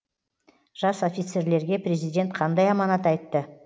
жас офицерлерге президент қандай аманат айтты